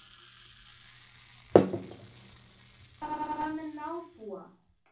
SÉRA SIGURÐUR: En hvað með nábúa.